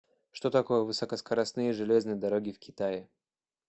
что такое высокоскоростные железные дороги в китае